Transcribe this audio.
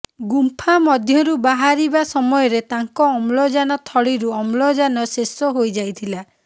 ଗୁମ୍ଫା ମଧ୍ୟରୁ ବାହାରିବା ସମୟରେ ତାଙ୍କ ଅମ୍ଳଜାନ ଥଳିରୁ ଅମ୍ଳଜାନ ଶେଷ ହୋଇଯାଇଥିଲା